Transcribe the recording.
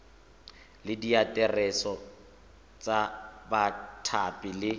le diaterese tsa bathapi le